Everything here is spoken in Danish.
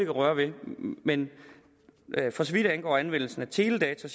at røre ved men for så vidt angår anvendelsen teledata